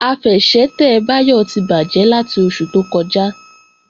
Àfẹsẹ̀tẹ̀ Báyọ̀ ti bàjẹ́ láti oṣù tó kọjá